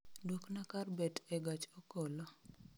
Duokna kar bet e gach okolo